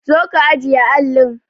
Zo ka ajiye allin!